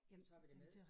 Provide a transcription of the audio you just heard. Så tager vi det med